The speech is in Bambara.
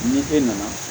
Ni e nana